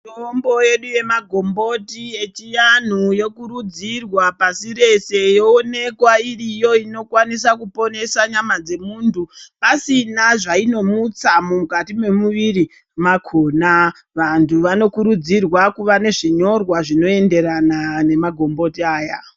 Mitombo yedu yechianhu yemagomboti yokurudzirwa pasi rese yoonekwa iriyo inokwanisa kuponesa nyama dzemuntu pasina zvainomutsa mukati memuviri makona vantu vanokurudzirwa kuva nezvinyorwa zvinoenderana nemagomboti aya.